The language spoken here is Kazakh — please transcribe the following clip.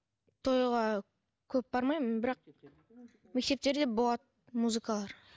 тойға көп бармаймын бірақ мектептерде болады музыкалар